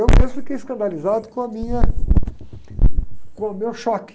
Eu mesmo fiquei escandalizado com a minha, com o meu choque.